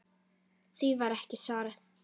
Því var ekki svarað.